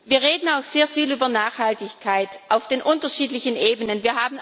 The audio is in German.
Wir reden auch sehr viel über Nachhaltigkeit auf den unterschiedlichen Ebenen.